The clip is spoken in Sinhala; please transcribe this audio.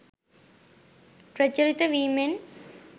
ප්‍රචලිත වීමෙන්